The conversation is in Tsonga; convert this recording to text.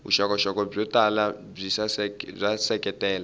vuxokoxoko byo tala byi seketela